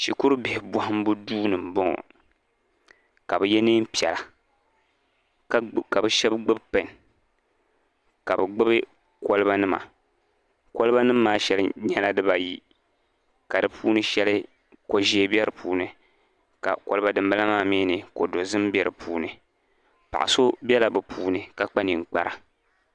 Shikuru bihi bɔhimbu duuni n bɔŋɔ kabi ye neen' piɛla. ka o shebi gbubi pen nima ka i gbubi koliba nima. koliba sheli nyɛla diba yi, ka di puuni sheli koʒɛɛ be di puuni. kadin bala maa mi ko dozim be di puuni. paɣaso bela bɛ puuni ka kpa ninkpara